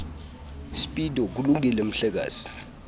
speedo kulungile mhlekazi